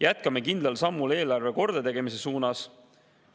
Jätkame kindlal sammul eelarve kordategemise suunas.